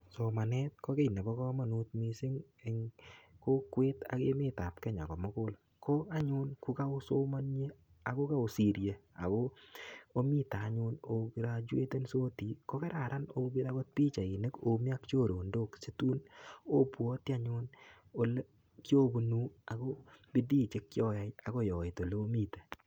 Somanet ko kiy nebo kamanut mising en kokwet ak emet ab Kenya komugul. Ko anyun kokaosomanie ago kaosirie ago omite anyun ograjuetonsi ko kararan opir agot pichainik omi ak chorondos situn obwati anyun ole kiobunu ago bidii che kioyai agoi oit olomiten.